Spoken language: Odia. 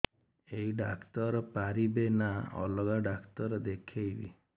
ଏଇ ଡ଼ାକ୍ତର ପାରିବେ ନା ଅଲଗା ଡ଼ାକ୍ତର ଦେଖେଇବି